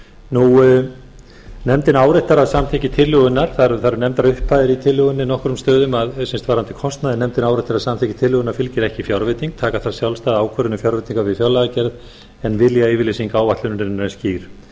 til persónuverndarsjónarmiða nefndin áréttar að samþykkt tillögunnar það eru nefndar upphæðir í tillögunni á nokkrum stöðum varðandi kostnaðinn nefndin áréttar að samþykki tillögunnar fylgir ekki fjárveiting taka þarf sjálfstæða ákvörðun um fjárveitingar við fjárlagagerð en viljayfirlýsing áætlunarinnar er skýr